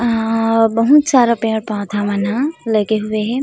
आ बहुत सारा पेड़-पौधा मन ह लागे हुए है।